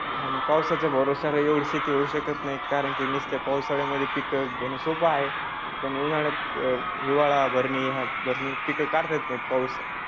आणि पावसाच्या भरोशावर येवढी शेती होऊ शकत नाही कारण की नुसतं पावसाळ्यात मध्ये पिक घेण सोपे आहे. पण उन्हाळ्यात हिवाळा भरणे पिक काढता येत नाहीत पाऊस